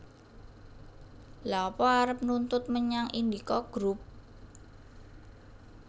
Lha apa arep nuntut menyang Indika Group